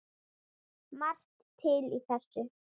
Margt til í þessu.